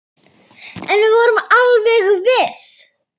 En við vorum alveg viss.